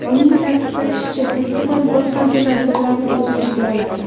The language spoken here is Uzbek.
Uning ta’kidlashicha, festival bir qancha tadbirlarni o‘z ichiga oladi.